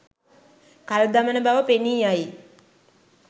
කල් දමන බව පෙනීයයි.